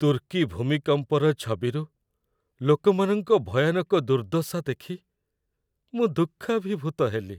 ତୁର୍କୀ ଭୂମିକମ୍ପର ଛବିରୁ ଲୋକମାନଙ୍କ ଭୟାନକ ଦୁର୍ଦ୍ଦଶା ଦେଖି ମୁଁ ଦୁଃଖାଭିଭୂତ ହେଲି ।